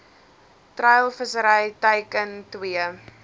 treilvissery teiken twee